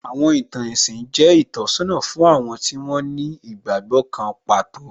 Àwọn ìtàn ẹ̀sìn jẹ́ ìtọ́sọ́nà fún àwọn tí wón ní ìgbàgbọ́ kan pàtó